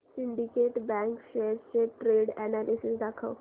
Syndicate Bank shares चे trend analysis दाखव